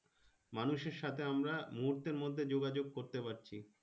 মানুষের সাথে আমরা মুহুর্তের মধ্যে যোগাযোগ করতে পারছি।